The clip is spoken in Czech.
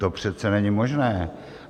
To přece není možné.